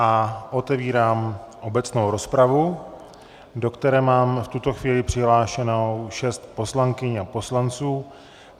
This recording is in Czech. A otevírám obecnou rozpravu, do které mám v tuto chvíli přihlášeno šest poslankyň a poslanců.